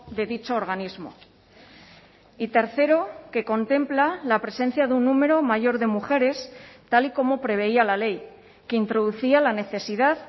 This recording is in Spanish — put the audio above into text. de dicho organismo y tercero que contempla la presencia de un número mayor de mujeres tal y como preveía la ley que introducía la necesidad